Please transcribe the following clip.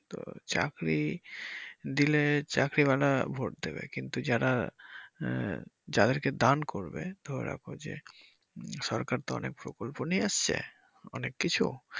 তো চাকরি দিলে চাকরিওয়ালা ভোট দিবে কিন্তু যারা আহ যাদেরকে দান করবে ধরে রাখো যে সরকার তো অনেক প্রকল্প নিয়ে আসছে অনেক কিছু।